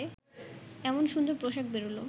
এমন সুন্দর পোশাক বেরুল